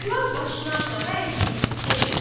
Oğlan başını aşağı əyib dedi: